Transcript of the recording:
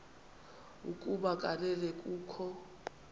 ukuba kanene kukho